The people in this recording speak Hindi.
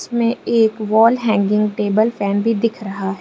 में एक वॉल हैंगिंग टेबल फैन भी दिख रहा है।